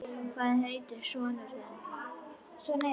Hvað heitir sonur þinn?